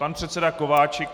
Pan předseda Kováčik.